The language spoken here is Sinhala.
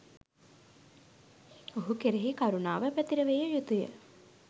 ඔහු කෙරෙහි කරුණාව පැතිරවිය යුතු ය.